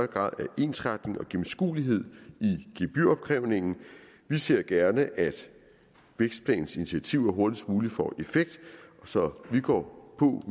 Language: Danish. grad af ensretning og gennemskuelighed i gebyropkrævningen vi ser gerne at vækstplanens initiativer hurtigst muligt får effekt så vi går på